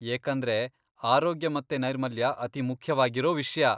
ಏಕಂದ್ರೆ ಆರೋಗ್ಯ ಮತ್ತೆ ನೈರ್ಮಲ್ಯ ಅತಿಮುಖ್ಯವಾಗಿರೋ ವಿಷ್ಯ.